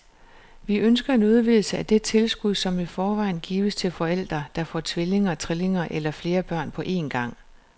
Vi ønsker en udvidelse af det tilskud, som i forvejen gives til forældre, der får tvillinger, trillinger eller flere børn på en gang.